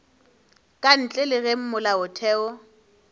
ka ntle le ge molaotheo